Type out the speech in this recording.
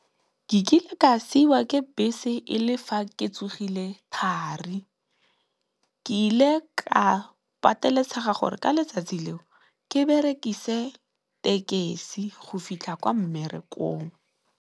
Ke kile ka siwa ke bese e le fa ke tsogile thari ke ile ka pateletsega gore ka letsatsi leo ke berekise tekisi go fitlha kwa mmerekong.